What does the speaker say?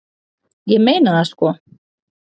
Ég meina það sko.